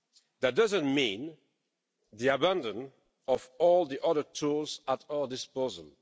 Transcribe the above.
That doesn't mean the abandon of all the other tools at our disposal.